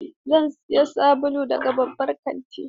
Zan sayi sabulu daga babban kanti.